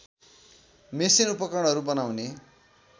machine उपकरणहरू बनाउने